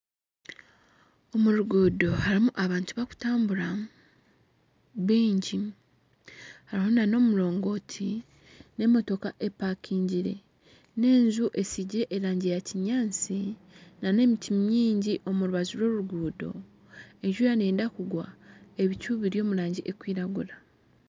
Omu ruguudo harimu abantu bakutambura baingi harimu na n'omurongoti n'emotooka epakingire n'enju estigire erangi ya kinyaatsi na n'emiti mingi omurubaju rw'oruguudo enjura needa kugwa ebicu biri omu rangi ekwiragura.